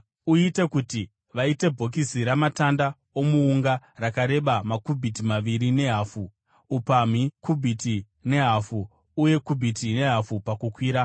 “Uite kuti vaite bhokisi ramatanda omuunga, rakareba makubhiti maviri nehafu , upamhi kubhiti nehafu , uye kubhiti nehafu pakukwira.